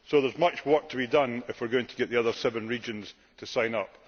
So there is much work to be done if we wish to get the other seven regions to sign up